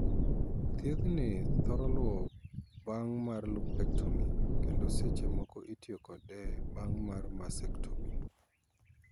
Thiethni thoro luwo bang' mar 'lumpectomy' kendo seche moko itiyo kode bang' mar 'mastectomy'.